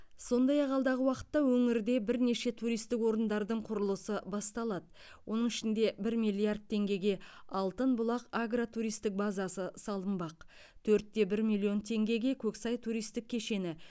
сондай ақ алдағы уақытта өңірде бірнеше туристік орындардың құрылысы басталады оның ішінде бір миллиард теңгеге алтын бұлақ агротуристік базасы салынбақ төрт те бір миллион теңгеге көксай туристік кешені